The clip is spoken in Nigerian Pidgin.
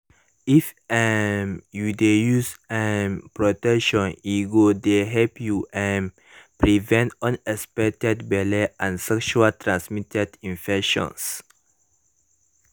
if um you de use um protection e go de help you um prevent unexpected belle and sexual transmitted infections